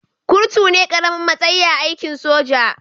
Kurtu ne karamin matsayi a aikin soja